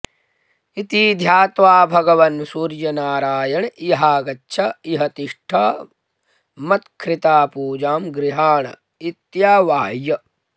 इति ध्यात्वा भगवान् सूर्यनारायण इहागच्छ इह तिष्ठ मत्ख़ृता पूजां गृहाण इत्यावाह्य